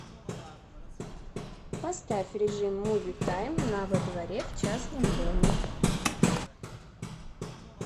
поставь режим муви тайм на во дворе в частном доме